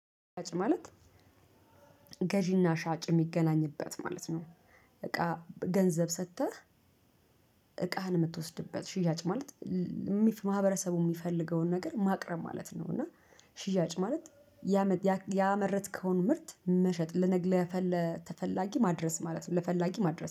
ሻጭ ማለት ገዢና ሻጭ የሚገናኝበት ማለት ነው። እቃ ገንዘብ ሰጥተህ። እቃህን የምትወስድበት ሽያጭ ማለት ማህበረሰቡ የሚፈልገውን ነገር ማቅረብ ማለት ነው። እና። ሽያጭ ማለት ያመረትከውን ምርት መሸጥ ለተፈላጊ ማድረስ ማለት ነው። ለፈላጊ ማድረስ